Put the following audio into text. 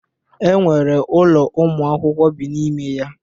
E nwere ụlọ ụmụ akwụkwọ bi n'ime ya.